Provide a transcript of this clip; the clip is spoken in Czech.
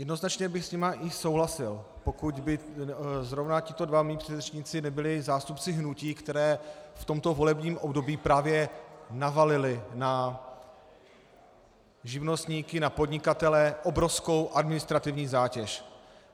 Jednoznačně bych s nimi i souhlasil, pokud by zrovna tito dva mí předřečníci nebyli zástupci hnutí, která v tomto volebním období právě navalila na živnostníky, na podnikatele obrovskou administrativní zátěž.